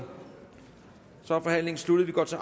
så er forhandlingen sluttet vi går til